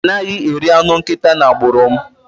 A naghi eri anụ nkịta n'agbụrụ m